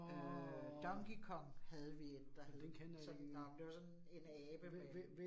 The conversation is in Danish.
Øh Donkey Kong havde vi 1, der hed. Sådan, nåh, men det var sådan en en abe med